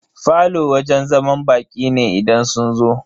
Falo wajen zaman baƙi ne idan sun zo.